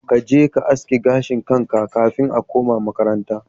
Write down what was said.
Kaje ka aske gashin kanka kafin a kuma makaranta.